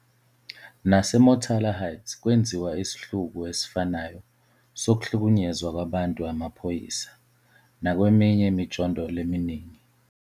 Nase Motala Heights kwenziwa isihluku esifanayo sokuhlukunyezwa kwabantu amaphoyisa, nakweminye imijondolo eminingi.